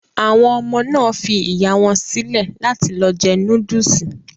Àwọn ọmọ náà fi ìyá wọn sílẹ̀ láti lọ jẹ núdùsì